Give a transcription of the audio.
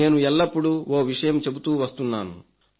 నేను ఎల్లప్పుడూ ఓ విషయం చెబుతూ వస్తున్నాను